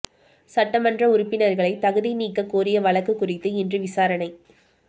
சட்டமன்ற உறுப்பினர்களை தகுதி நீக்கக் கோரிய வழக்கு குறித்து இன்று விசாரணை